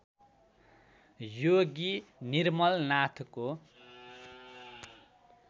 योगी निर्मलनाथको